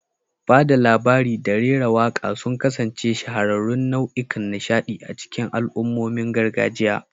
Ba da labari da rera waƙa sun kasance shahararrun nau'ikan nishaɗi a cikin al'ummomin gargajiya.